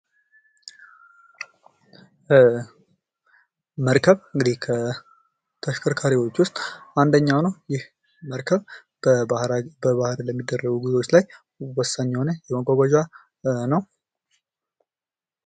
መርከብ እንግዲህ ከተሽከርካሪዎች ውስጥ አንደኛው ነው። መርከብ በባህር ለሚደረጉ ጉዞዎች ላይ ወሳኝ የሆነ የመጓጓዣ ነው።